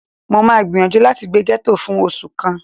Mó máa gbìyànjú láti gbé gẹ́tò fún oṣù kan